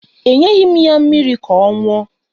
Enyeghi m ya mmiri ka ọ ṅụọ